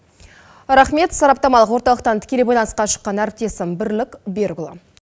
рахмет сараптамалық орталықтан тікелей байланысқа шыққан әріптесім бірлік берікұлы